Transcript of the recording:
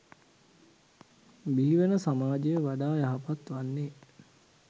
බිහිවන සමාජය වඩා යහපත් වන්නේ.